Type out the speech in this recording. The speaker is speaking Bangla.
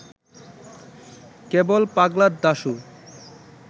কেবল ‘পাগলা দাশু’